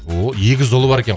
ооо егіз ұлы бар екен